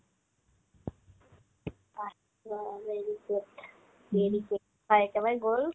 আহ্, ৰ' মেৰিজ গ'ল মেৰিজ গ'ল তাই একেবাৰে গ'ল